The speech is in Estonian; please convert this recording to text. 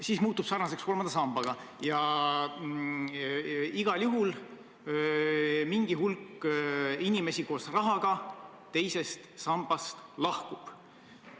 See muutub sarnaseks kolmanda sambaga ja igal juhul mingi hulk inimesi koos rahaga teisest sambast lahkub.